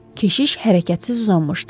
Keşiş hərəkətsiz uzanmışdı.